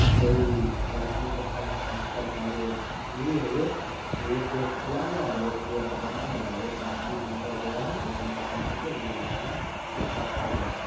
कोई प्रखण्ड सा चंचल कार्य एक गेट खुला है और एक गेट बंद है और एक आदमी अंदर गया है एक मोटर साइकिल पे दु आदमी है। बहुत अच्छा लग रहा है।